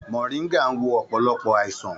Moringa ń wo ọ̀pọ̀lọpọ̀ àìsàn.